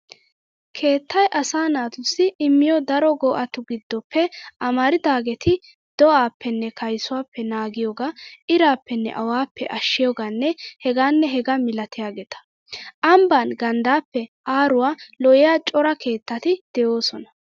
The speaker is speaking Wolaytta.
Keettay asaa naatussi immiyo daro go'atu giddoppe amaridaageeti do'aappenne kaysuwaappe naagiyogaa, iraappenne awaappe ashshiyogaanne hegaanne hegaa milatiyaageeta. Ambban ganddaappe aaruwaa lo'iya cora keettati de"oosona.